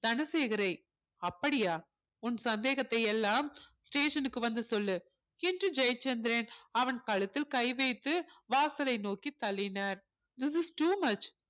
தனசேகரை அப்படியா உன் சந்தேகத்தை எல்லாம் station க்கு வந்து சொல்லு என்று ஜெயச்சந்திரன் அவன் கழுத்தில் கை வைத்து வாசலை நோக்கி தள்ளினார் this is too much